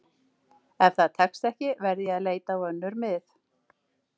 Ef það tekst ekki verð ég að leita á önnur mið.